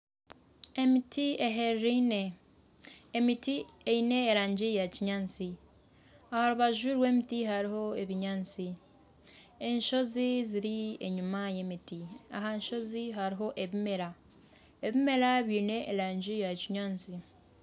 Emiti ehereiraine, emiti eine erangi ya kinyaatsi aha rubaju rw'emiti hariho ebinyaatsi, enshozi ziri enyuma y'emiti aha nshozi hariho ebimera, ebimera byine erangi ya kinyaatsi.